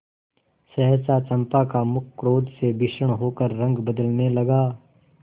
सहसा चंपा का मुख क्रोध से भीषण होकर रंग बदलने लगा